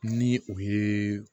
Ni o ye